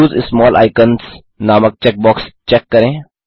उसे small icons नामक checkbox check करें